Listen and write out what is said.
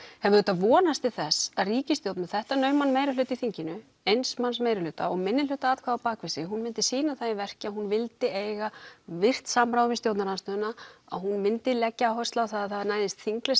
hef auðvitað vonast til þess að ríkisstjórn með þetta nauman meirihluta í þinginu eins manns meirihluta og minnihluta atkvæði á bakvið sig að hún myndi sýna það í verki að hún vildi eiga virt samráð við stjórnarandstöðuna að hún myndi leggja áherslu á að það næðist þingleg